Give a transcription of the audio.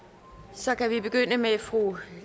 så kan vi begynde med fru